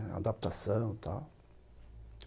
A adaptação e tal.